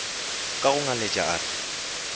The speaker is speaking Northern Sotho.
ka go ngaletša a re